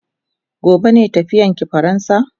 Gobe ne tafiyan ki faransa?